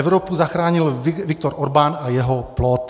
Evropu zachránil Viktor Orbán a jeho plot.